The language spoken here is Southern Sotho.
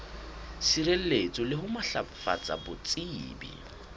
sireletsa le ho matlafatsa botsebi